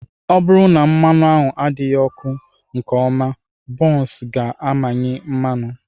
Ọ bụrụ na mmanụ ahụ adịghị ọkụ nke ọma, buns ga-amịnye mmanụ.